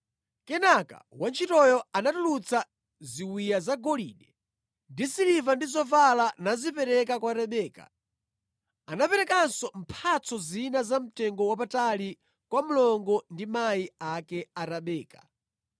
Kenaka wantchitoyo anatulutsa ziwiya zagolide ndi zasiliva ndi zovala nazipereka kwa Rebeka. Anaperekanso mphatso zina za mtengowapatali kwa mlongo wake ndi amayi ake a Rebeka.